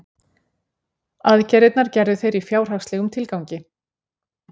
Aðgerðirnar gerðu þeir í fjárhagslegum tilgangi